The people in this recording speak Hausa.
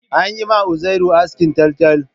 An yi ma Uzairu askin taltal